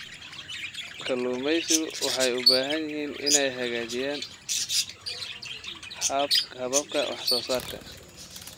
Kalluumaysigu waxay u baahan yihiin inay hagaajiyaan hababka wax soo saarka.